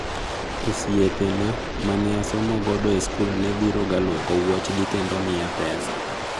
" osiepena maneasomogo e skul ne biro ga lwoko wuoch gi kendo miya pesa,"